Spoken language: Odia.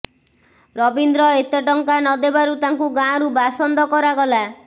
ରବୀନ୍ଦ୍ର ଏତେ ଟଙ୍କା ନ ଦେବାରୁ ତାଙ୍କୁ ଗାଁରୁ ବାସନ୍ଦ କରାଗଲା